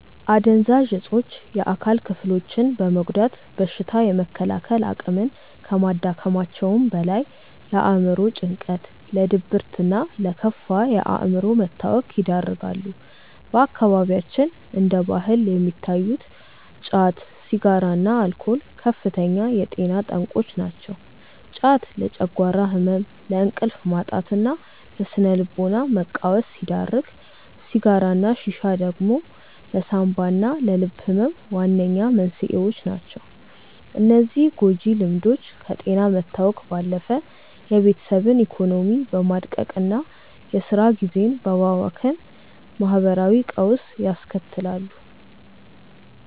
አደንዛዥ እፆች የአካል ክፍሎችን በመጉዳት በሽታ የመከላከል አቅምን ከማዳከማቸውም በላይ፣ ለአእምሮ ጭንቀት፣ ለድብርትና ለከፋ የአእምሮ መታወክ ይዳርጋሉ። በአካባቢያችን እንደ ባህል የሚታዩት ጫት፣ ሲጋራና አልኮል ከፍተኛ የጤና ጠንቆች ናቸው። ጫት ለጨጓራ ህመም፣ ለእንቅልፍ ማጣትና ለስነ-ልቦና መቃወስ ሲዳርግ፣ ሲጋራና ሺሻ ደግሞ ለሳንባና ለልብ ህመም ዋነኛ መንስኤዎች ናቸው። እነዚህ ጎጂ ልምዶች ከጤና መታወክ ባለፈ የቤተሰብን ኢኮኖሚ በማድቀቅና የስራ ጊዜን በማባከን ማህበራዊ ቀውስ ያስከትላሉ።